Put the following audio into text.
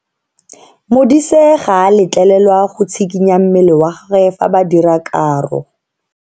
Modise ga a letlelelwa go tshikinya mmele wa gagwe fa ba dira karo.